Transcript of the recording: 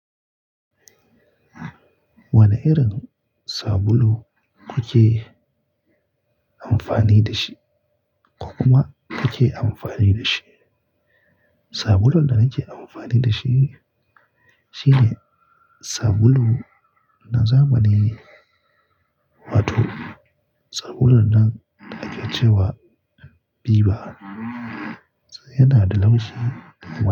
Wane irin sabulu kuke amfani da shi ko kuma kake amfani da shi? Sabulun da nake amfani da shi shine sabulu na zamani, wato sabulun nan ake ce wa Viva. Yana da laushi.